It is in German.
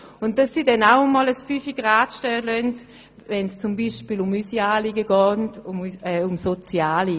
Umgekehrt hoffen wir natürlich, dass sie dann auch einmal «den Fünfer gerade sein lassen», wenn es zum Beispiel um soziale Anliegen von uns geht.